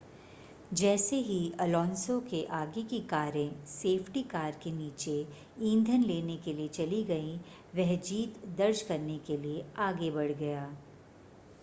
जैसे ही अलोंसो के आगे की कारें सेफ्टी कार के नीचे ईंधन लेने के लिए चली गईं वह जीत दर्ज करने के लिए आगे बढ़ गया